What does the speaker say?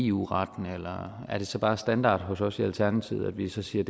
eu retten er det så bare standard hos os i alternativet at vi så siger